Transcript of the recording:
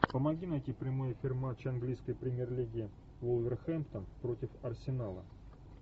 помоги найти прямой эфир матча английской премьер лиги вулверхэмптон против арсенала